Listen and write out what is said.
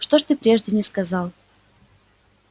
что ж ты прежде не сказал